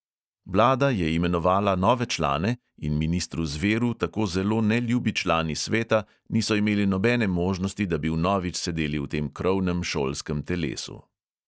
Vlada je imenovala nove člane in ministru zveru tako zelo neljubi člani sveta niso imeli nobene možnosti, da bi vnovič sedeli v tem krovnem šolskem telesu.